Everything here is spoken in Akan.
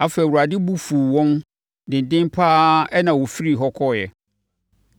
Afei, Awurade bo fuu wɔn denden pa ara ɛnna ɔfirii hɔ kɔeɛ.